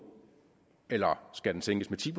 eller skal den sænkes med ti